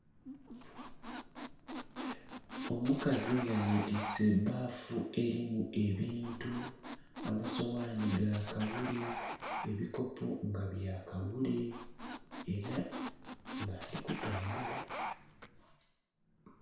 Omukazi nga yetiise ebbafu elimu ebintu, amasoghani ga kawule, ebikopo nga bya kawule, era nga ali kutambula.